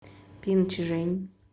пинчжэнь